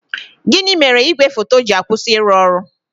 Gịnị mere igwe foto ji akwụsị ịrụ ọrụ?